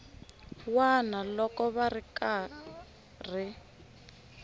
wana loko va ri karhi